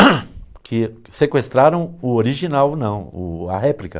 (linpa garganta) que sequestraram o original, não, o, a réplica.